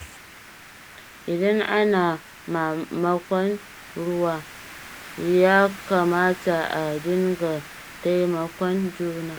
Idan ana mamakon ruwa, ya kamata a dinga taimakon juna.